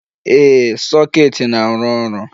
Ee, soket na-arụ ọrụ.